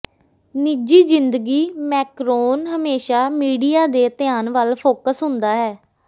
ਨਿੱਜੀ ਜ਼ਿੰਦਗੀ ਮੈਕਰੋਨ ਹਮੇਸ਼ਾਂ ਮੀਡੀਆ ਦੇ ਧਿਆਨ ਵੱਲ ਫੋਕਸ ਹੁੰਦਾ ਹੈ